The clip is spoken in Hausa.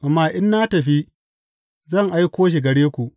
Amma in na tafi, zan aiko shi gare ku.